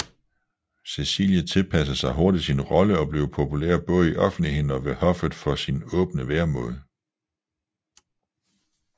Cecilie tilpassede sig hurtigt sin rolle og blev populær både i offentligheden og ved hoffet for sin åbne væremåde